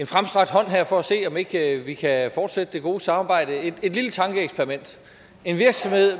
fremstrakt hånd herfra for at se om ikke vi kan fortsætte det gode samarbejde jeg vil komme et lille tankeeksperiment en virksomhed